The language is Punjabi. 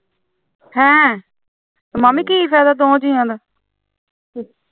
ਹੈਂ ਮਾਮੀ ਕੀ ਫਾਇਦਾ ਦੋਹਾਂ ਜੀਆਂ ਦਾ